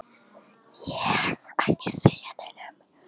Örnólfur, hver syngur þetta lag?